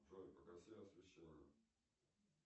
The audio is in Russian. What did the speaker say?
джой погаси освещение